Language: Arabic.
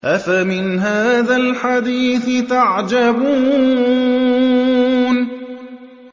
أَفَمِنْ هَٰذَا الْحَدِيثِ تَعْجَبُونَ